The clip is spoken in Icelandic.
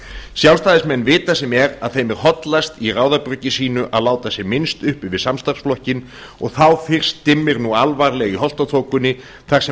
sjálfstæðismenn vita sem er að þeim er hollast í ráðabruggi sínu að láta sem minnst uppi við samstarfsflokkinn og þá fyrst dimmir nú alvarlega í holtaþokunni þar sem